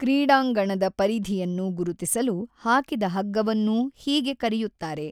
ಕ್ರೀಢಾಂಗಣದ ಪರಿಧಿಯನ್ನು ಗುರುತಿಸಲು ಹಾಕಿದ ಹಗ್ಗವನ್ನೂ ಹೀಗೆ ಕರೆಯುತ್ತಾರೆ.